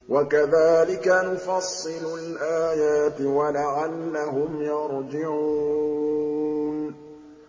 وَكَذَٰلِكَ نُفَصِّلُ الْآيَاتِ وَلَعَلَّهُمْ يَرْجِعُونَ